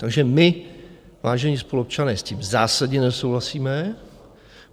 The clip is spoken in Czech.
Takže my, vážení spoluobčané, s tím zásadně nesouhlasíme.